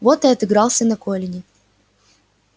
вот и отыгрался на колине